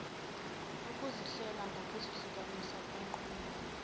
ukuzihlela ngokuzihlukanisa kunqunywa